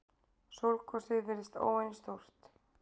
Sólgosið virðist óvenju stórt